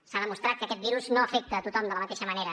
s’ha demostrat que aquest virus no afecta tothom de la mateixa manera